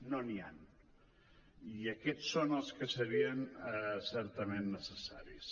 no n’hi han i aquests són els que serien certament necessaris